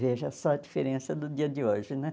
Veja só a diferença do dia de hoje, né?